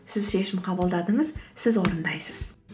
сіз шешім қабылдадыңыз сіз орындайсыз